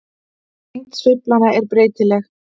Lengd sveiflanna er breytileg.